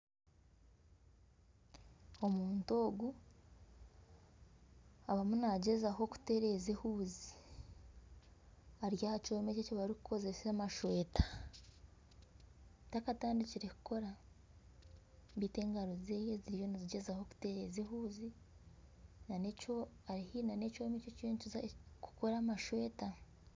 Omuntu ogu arimu nagyezaho kutereeza ehuuzi ari aha kyoma eki barikukozesa amashweta takatandikire kukora beitu engaro zeeye ziriyo nizigyezaho kutereeza ehuuzi ari haihi na ekyoma ekirikukora amashweta.